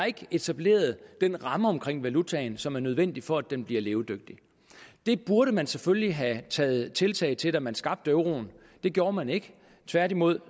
etableret den ramme omkring valutaen som er nødvendig for at den bliver levedygtig det burde man selvfølgelig have taget tiltag til da man skabte euroen det gjorde man ikke tværtimod